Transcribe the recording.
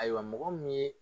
Ayiwa mɔgɔ min ye